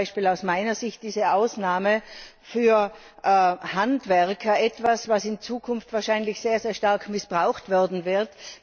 So ist zum Beispiel aus meiner Sicht diese Ausnahme für Handwerker etwas, was in Zukunft wahrscheinlich sehr stark missbraucht werden wird.